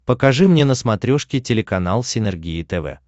покажи мне на смотрешке телеканал синергия тв